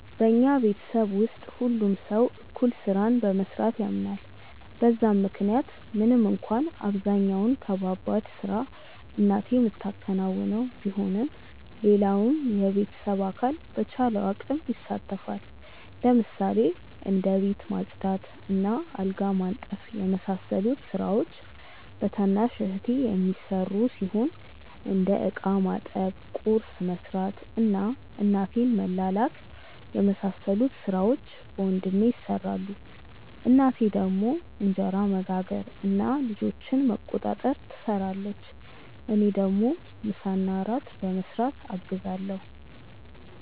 በኛ ቤተሰብ ውስጥ ሁሉም ሰው እኩል ስራን በመስራት ያምናል በዛም ምክንያት ምንም እንኳን አብዛኛውን ከባባድ ስራ እናቴ ምታከናውነው ቢሆንም ሌላውም የቤተሰብ አካል በቻለው አቅም ይሳተፋል። ለምሳሌ እንደ ቤት ማጽዳት እና አልጋ ማንጠፍ የመሳሰሉት ስራዎች በታናሽ እህቴ የሚሰሩ ሲሆን እንደ እቃ ማጠብ፣ ቁርስ መስራት እና እናቴን መላላክ የመሳሰሉት ሥራዎች በወንድሜ ይሰራሉ። እናቴ ደግሞ እንጀራ መጋገር እና ልጆችን መቆጣጠር ትሰራለች። እኔ ደግሞ ምሳና እራት በመስራት አግዛለሁ።